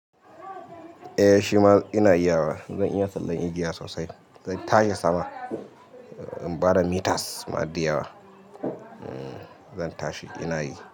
Eh shima ina iya wa. Zan iya tsallen agiya sosai. Zan tashi sama in bada meters ma di yawa. Zan tashi ina yi.